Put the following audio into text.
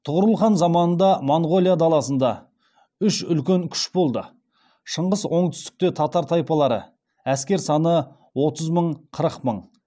тұғырыл хан заманында моңғолия даласында үш үлкен күш болды шығыс оңтүстікте татар тайпалары әскер саны отыз мың қырық мың